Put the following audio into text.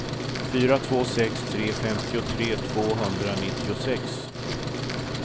fyra två sex tre femtiotre tvåhundranittiosex